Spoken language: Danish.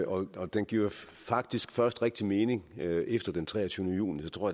og den giver jo faktisk først rigtig mening efter den treogtyvende juni så tror